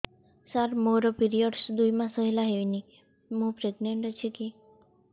ସାର ମୋର ପିରୀଅଡ଼ସ ଦୁଇ ମାସ ହେଲା ହେଇନି ମୁ ପ୍ରେଗନାଂଟ ଅଛି କି